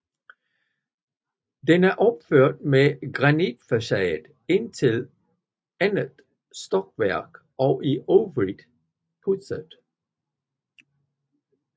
Den er opført med granitfacade indtil andet stokværk og i øvrigt pudset